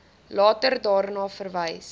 later daarna verwys